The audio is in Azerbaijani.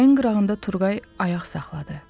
Çayın qırağında Turqay ayaq saxladı.